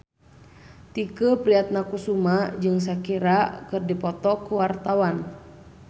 Tike Priatnakusuma jeung Shakira keur dipoto ku wartawan